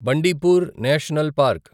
Bandipur national park